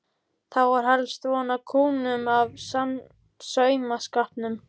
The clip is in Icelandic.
Þá var helst von á kúnnum út af saumaskapnum.